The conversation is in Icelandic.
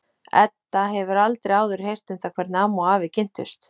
Edda hefur aldrei áður heyrt um það hvernig amma og afi kynntust.